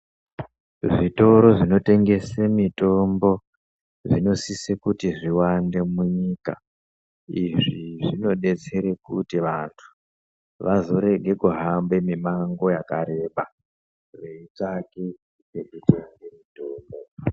Zvitoro zvinotengese mitombo, zvinosise kuti zviwande munyika. Izvi zvinodetsere kuti vantu vazorege kuhamba mimango yakareba veitsvange pekutenge mitombo.